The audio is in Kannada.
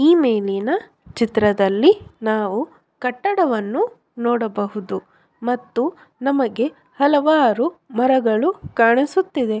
ಈ ಮೇಲಿನ ಚಿತ್ರದಲ್ಲಿ ನಾವು ಕಟ್ಟಡವನ್ನು ನೋಡಬಹುದು ಮತ್ತು ನಮಗೆ ಹಲವಾರು ಮರಗಳು ಕಾಣಿಸುತ್ತಿವೆ.